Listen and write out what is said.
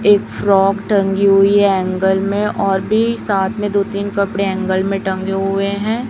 एक फ्रॉक टंगी हुई एंगल में और भी साथ में दो तीन कपड़े एंगल में टंगे हुए हैं।